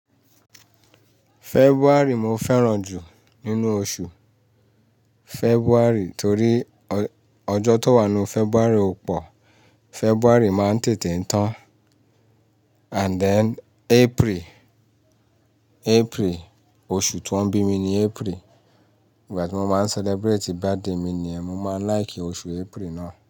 February mo fẹ́ràn jù nínú oṣù February torí ọjọ́ tó wà nínu February pọ̀. February máa ń tètè tán. And then April, April oṣù tí wọ́n bí mi ni April. Ìgbà tí mo máa ń celebrate birthday mi ni ẹ, mo máa like oṣù April náà.